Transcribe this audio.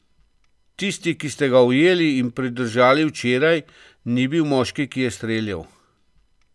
Tisti, ki ste ga ujeli in pridržali včeraj, ni bil moški, ki je streljal.